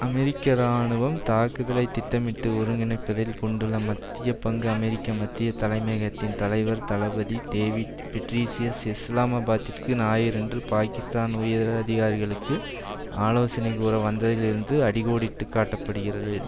அமெரிக்க இராணுவம் தாக்குதலை திட்டமிட்டு ஒருங்கிணைப்பதில் கொண்டுள்ள மத்திய பங்கு அமெரிக்க மத்திய தலைமையகத்தின் தலைவர் தளபதி டேவிட் பெட்ரீயஸ் இஸ்லாமாபாத்திற்கு ஞாயிறன்று பாக்கிஸ்தான் உயரதிகாரிகளுக்கு ஆலோசனை கூற வந்ததில் இருந்து அடி கோடிட்டு காட்ட படுகிறது